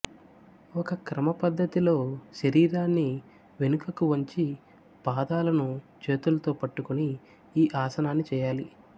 ఒక క్రమ పద్ధతిలో శరీరాన్ని వెనుకకు వంచి పాదాలను చేతుల్తో పట్టుకుని ఈ ఆసనాన్ని చేయాలి